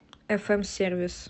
фм сервис